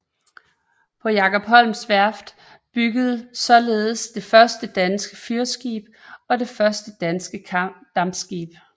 På Jacob Holms værft byggedes således det første danske fyrskib og det første danske dampskib